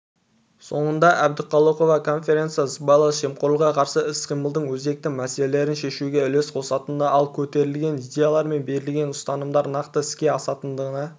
соңында әбдіқалықова конференция сыбайлас жемқорлыққа қарсы іс-қимылдың өзекті мәселелерін шешуге үлес қосатынына ал көтерілген идеялар мен берілген ұсынымдар нақты іске асатынына